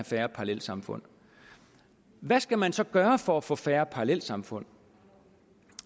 færre parallelsamfund hvad skal man så gøre for at få færre parallelsamfund